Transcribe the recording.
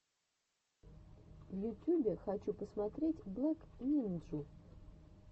в ютюбе хочу посмотреть блэк нинджу